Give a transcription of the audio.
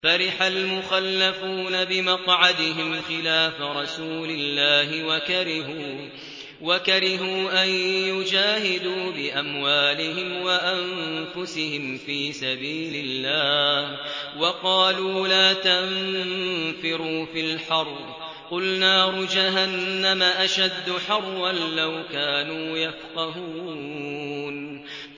فَرِحَ الْمُخَلَّفُونَ بِمَقْعَدِهِمْ خِلَافَ رَسُولِ اللَّهِ وَكَرِهُوا أَن يُجَاهِدُوا بِأَمْوَالِهِمْ وَأَنفُسِهِمْ فِي سَبِيلِ اللَّهِ وَقَالُوا لَا تَنفِرُوا فِي الْحَرِّ ۗ قُلْ نَارُ جَهَنَّمَ أَشَدُّ حَرًّا ۚ لَّوْ كَانُوا يَفْقَهُونَ